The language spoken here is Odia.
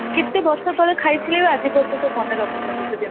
କେତେ ବର୍ଷ ତଳେ ଖାଇଥିଲେ ଆଜି ଯାଏ ମନ ରଖିଛନ୍ତି ସେ ଜିନିଷକୁ